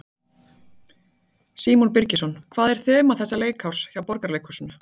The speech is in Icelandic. Símon Birgisson: Hvað er þema þessa leikárs hjá Borgarleikhúsinu?